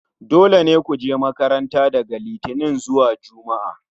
dole ne ku je makarnta daga Litinin zuwa Juma'a